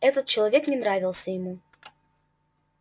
этот человек не нравился ему